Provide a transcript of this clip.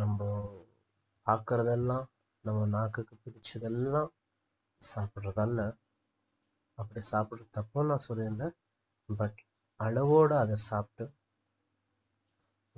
நம்ப பாக்குறதெல்லாம் நம்ப நாக்குக்கு புடிச்சதெல்லாம் சாப்பிடுறதல்ல அப்படி சாப்புடுறது தப்புன்னு நான் சொல்லிறல but அளவோடு அதை சாப்புடு